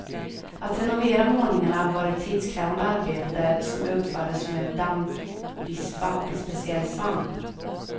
Att renovera målningarna var ett tidskrävande arbete som utfördes med dammvispa och en speciell svamp.